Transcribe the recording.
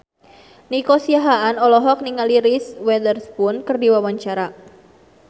Nico Siahaan olohok ningali Reese Witherspoon keur diwawancara